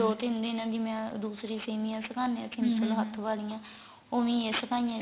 ਦੋ ਤਿੰਨ ਦਿਨ ਐਵੇ ਦੂਸਰੀ ਸੇਮੀਆਂ ਸੁਕਾਂਦੇ ਆ ਵਾਲੀਆਂ ਉਵੇ ਈ ਇਹ ਸੁਕਣੇ ਆ